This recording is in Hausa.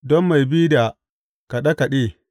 Don mai bi da kaɗe kaɗe.